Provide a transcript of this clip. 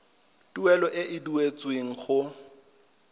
tuelo e e duetsweng go